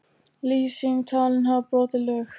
Lýsing talin hafa brotið lög